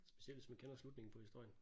Specielt hvis man kender slutningen på historien